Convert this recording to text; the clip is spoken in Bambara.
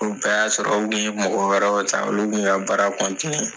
O bɛɛ y'a sɔrɔ u kun ye mɔgɔ wɛrɛw ta olu kun ka baara